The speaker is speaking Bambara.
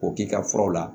K'o k'i ka furaw la